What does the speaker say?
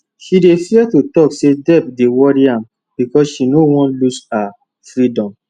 she dey fear to talk say debt dey worry am because she no wan lose her freedom